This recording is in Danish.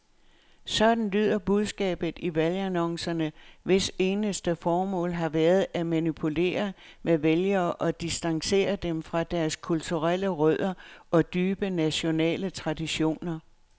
Sådan lyder budskabet i valgannoncerne, hvis eneste formål har været at manipulere med vælgere og distancere dem fra deres kulturelle rødder og dybe nationale traditioner.